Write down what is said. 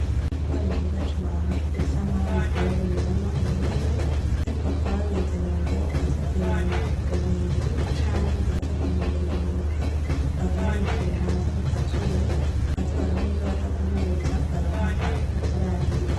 Ibigori vyiza cane bisa nkaho bivuye mumurima ubu nyene ariko bakaba babizanye ngobaze kubimanika kuruhimbi canke baze guhungurura intete bavyanikire hanze kuka zuba baze baronke ivyobaja guhuza baronke agafu ko kurarira.